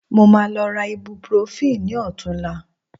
Mo máa lọ ra ibuprofen ní ọ̀tunla